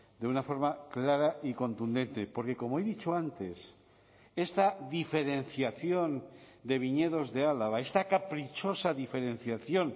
de una forma clara y contundente porque como he dicho antes esta diferenciación de viñedos de álava esta caprichosa diferenciación